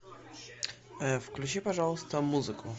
включи пожалуйста музыку